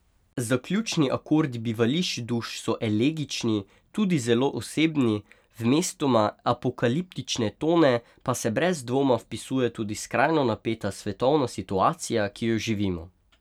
Zaključni akordi Bivališč duš so elegični, tudi zelo osebni, v mestoma apokaliptične tone pa se brez dvoma vpisuje tudi skrajno napeta svetovna situacija, ki jo živimo.